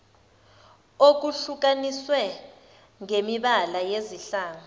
okuhlukaniswe ngemibala yezihlangu